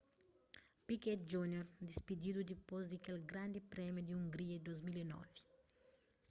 piquet jr dispididu dipôs di kel grandi prémiu di hungria di 2009